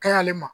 Ka ɲi ale ma